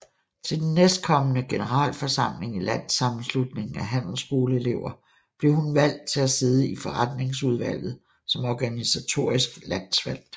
Til den næstkommende generalforsamling i Landssammenslutningen af Handelsskoleelever blev hun valgt til at sidde i forretningsudvalget som organisatorisk landsvalgt